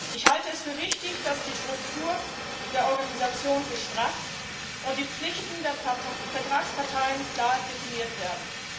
Ich halte es für wichtig, dass die Struktur der Organisation gestrafft und die Pflichten der Vertragsparteien klar definiert werden.